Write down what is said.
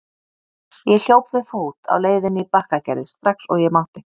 Ég hljóp við fót á leiðinni í Bakkagerði strax og ég mátti.